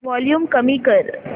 volume कमी कर